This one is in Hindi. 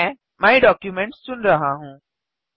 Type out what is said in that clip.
मैं माय डॉक्यूमेंट्स चुन रहा हूँ